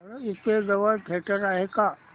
इथे जवळ थिएटर आहे का